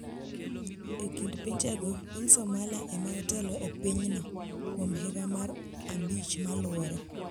E kind pinjego, piny Somalia ema otelo e pinyno kuom higa mar abich moluwore.